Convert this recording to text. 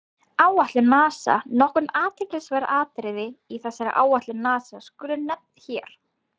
Áætlun NASA Nokkur athyglisverð atriði í þessari áætlun NASA skulu nefnd hér.